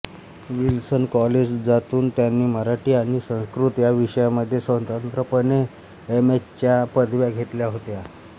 Wilson कॉलेजातून त्यांनी मराठी आणि संस्कृत या विषयांमध्ये स्वतंत्रपणे एम ए च्या पदव्या घेतल्या होत्या